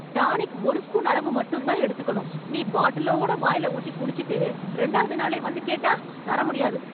tonic ஒரு spoon அளவு மட்டும்தான் எடுத்துக்கணும்... நீ பாட்டிலோட வாய்ல ஊத்தி குடிச்சுட்டு, ரெண்டாவது நாளே வந்து கேட்டா, தர முடியாது...